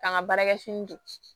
K'an ka baarakɛ fini don